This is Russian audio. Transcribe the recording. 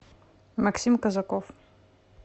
максим казаков